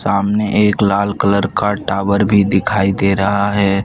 सामने एक लाल कलर का टावर भी दिखाई दे रहा है।